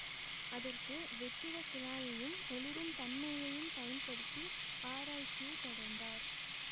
அதற்கு வெற்றிடக் குழாயையும் ஒளிருன் தன்மையையும் பயன்படுத்தி ஆராய்ச்சியைத் தொடர்ந்தார்